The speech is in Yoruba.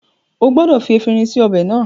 O gbọdọ̀ fi efinrin sí ọbẹ̀ náà